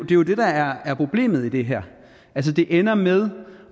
jo det der er problemet i det her det ender med